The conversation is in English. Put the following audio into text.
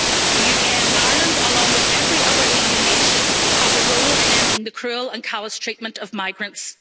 The UK and Ireland, along with every other EU nation, have a role in ending the cruel and callous treatment of migrants.